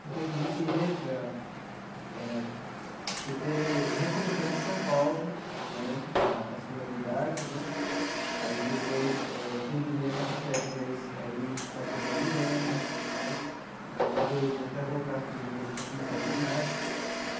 Porque, assim, a gente entra eh por ter recomeçado em São Paulo né a a escolaridade né, aí depois eh terminei a quarta série, mas aí passou mais um ano né, mais dois né, até voltar a fazer o madureza para começar o ginásio.